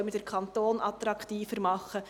Wie können wir den Kanton attraktiver machen?